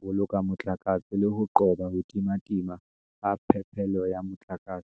boloka motlakase le ho qoba ho timatima ha phepelo ya motlakase.